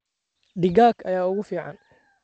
Digaag ayaa ugu fiican.